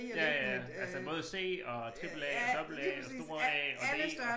Ja ja altså både C og tripel A dobbelt A og store A og D og